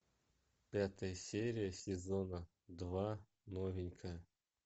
пятая серия сезона два новенькая